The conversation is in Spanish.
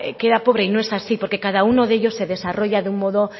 queda pobre y no es así porque cada uno de ellos se desarrolla de un modo